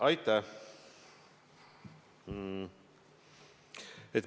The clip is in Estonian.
Aitäh!